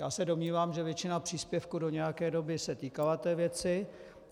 Já se domnívám, že většina příspěvků do nějaké doby se týkala té věci.